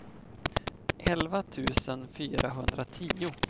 elva tusen fyrahundratio